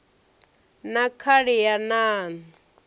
na khali ya nan o